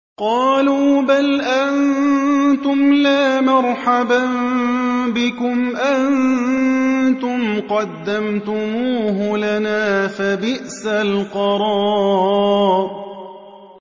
قَالُوا بَلْ أَنتُمْ لَا مَرْحَبًا بِكُمْ ۖ أَنتُمْ قَدَّمْتُمُوهُ لَنَا ۖ فَبِئْسَ الْقَرَارُ